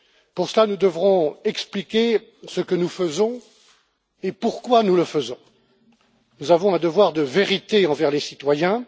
Pour cela, nous devrons expliquer ce que nous faisons et pourquoi nous le faisons. Nous avons un devoir de vérité envers les citoyens.